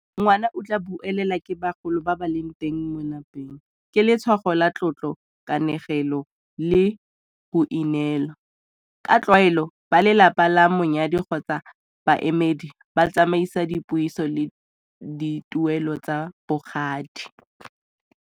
Ngwana o tla buelela ke bagolo ba ba leng teng mo lapeng ke letshwao la tlotlo, kanegelo le boineelo. Ka tlwaelo ba lelapa la monyadi kgotsa baemedi ba tsamaisa dipuiso le dituelo tsa bogadi.